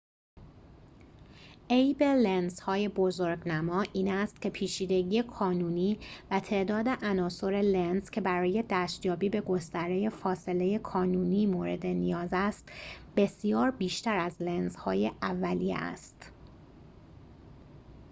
عیب لنزهای بزرگنما این است که پیچیدگی کانونی و تعداد عناصر لنز که برای دستیابی به گستره فاصله کانونی مورد نیاز است بسیار بیشتر از لنزهای اولیه است